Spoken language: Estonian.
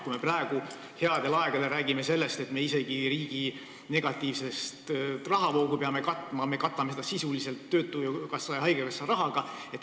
Me praegu, headel aegadel, räägime sellest, et me isegi riigi negatiivset rahavoogu peame katma sisuliselt töötukassa ja haigekassa rahaga.